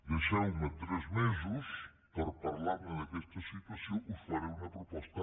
deixeu me tres mesos per parlar d’aquesta situació us faré una proposta